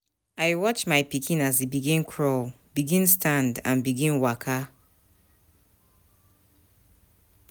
I watch my pikin as e begin crawl, begin stand and begin waka.